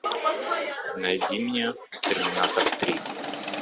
найди мне терминатор три